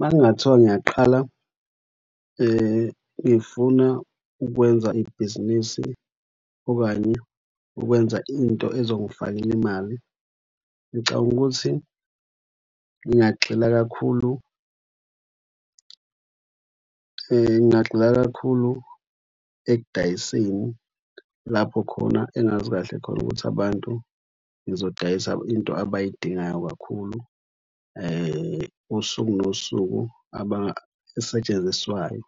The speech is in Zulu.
Makungathiwa ngiyaqhala ngifuna ukwenza ibhizinisi okanye ukwenza into ezongifakela imali. Ngicabanga ukuthi ngingagxila kakhulu, ngingagxila kakhulu ekudayiseni lapho khona engazi kahle khona ukuthi abantu ngizodayisa into abayidingayo kakhulu. Usuku nosuku esetshenziswayo.